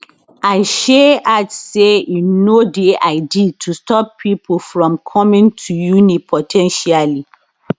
and shay add say e no dey ideal to stop pipo from coming [to] uni po ten tially